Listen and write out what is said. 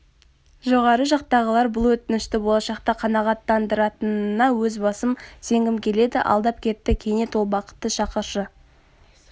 жоғары жақтағылар бұл өтінішті болашақта қанағаттандыратынына өз басым сенгім келеді алдап кетті кенет ол бақытты шақыршы